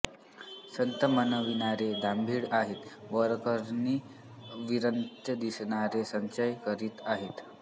संत म्हणविणारे दांभिक आहेत वरकरणी विरक्त दिसणारे संचय करीत आहेत